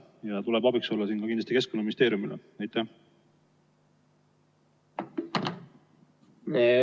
Siin tuleb kindlasti Keskkonnaministeeriumile abiks olla.